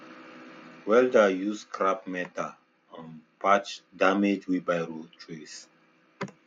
welder use scrap metal um patch damaged wheelbarrow trays